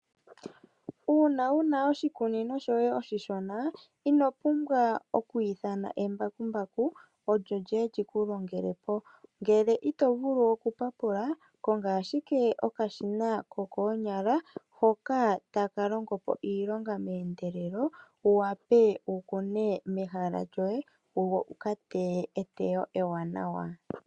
Uuna wu na oshikunino shoye oshishona, ino pumbwa oku ithana embakumbaku olyo lyiye lyi ku longelepo. Ngele ito vulu okupapula konga ashike okashina ko koonyala hoka taka longopo iilonga meendelelo, wu wape wu kune mehala lyoye. Wu ka teye eteyo ewanawa.